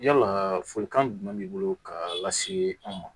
Yala folikan jumɛn b'i bolo k'a lase aw ma